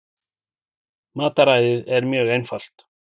Mataræðið er mjög einfalt